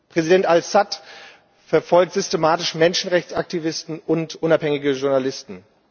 Präsident Assad verfolgt systematisch Menschenrechtsaktivisten und unabhängige Journalisten.